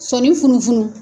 Sɔɔnin funufunu.